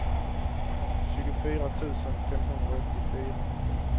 tjugofyra tusen femhundraåttiofyra